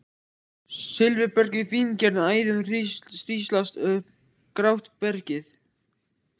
Silfurberg í fíngerðum æðum hríslast um grátt bergið.